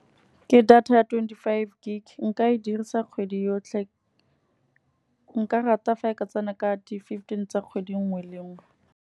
Ke data ya twenty-five gig nka e dirisa kgwedi yotlhe. Nka rata fa ka tsena ka di-fifteen tsa kgwedi nngwe le nngwe.